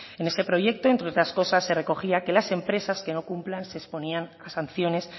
en ese proyecto entre otras cosas se recogía que las empresas que no cumplan se exponían a sanciones